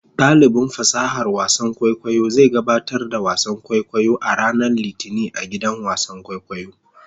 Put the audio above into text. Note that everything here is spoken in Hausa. Dalibin fasahar wasan kwaikwayo zai gabatar da wasan kwaikwayo a ranar Litinin a gidan wasan kwaikwayo.